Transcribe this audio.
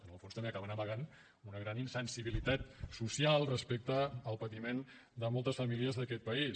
en el fons també acaben amagant una gran insensibilitat social respecte al patiment de moltes famílies d’aquest país